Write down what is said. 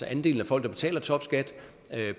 andelen af folk der betaler topskat